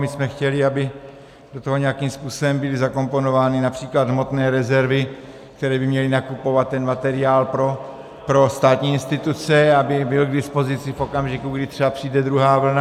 My jsme chtěli, aby do toho nějakým způsobem byly zakomponovány například hmotné rezervy, které by měly nakupovat ten materiál pro státní instituce, aby byl k dispozici v okamžiku, kdy třeba přijde druhá vlna.